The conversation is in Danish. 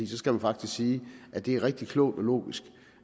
så skal man faktisk sige at det er rigtig klogt og logisk